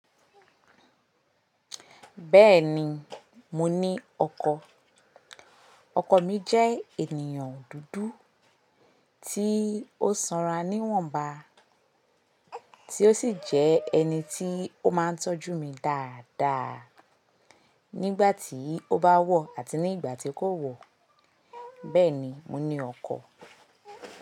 Bẹ́ẹ̀ni, mo ní ọkọ̀. Ọkọ̀ mi jẹ́ ènìyàn dúdú tí ó sanra níwọ̀nba, tí ó sì jẹ́ ẹni tí ó máa ń tọ́jú mi dáadáa nígbàtí ó bá wọ̀ àti nígbàtí kò wọ̀. Bẹ́ẹ̀ni, mo ní ọkọ̀.